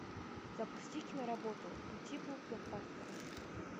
запусти киноработу по типу блокбастера